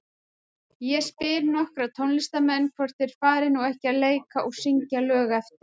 Ég spyr nokkra tónlistarmenn, hvort þeir fari nú ekki að leika og syngja lög eftir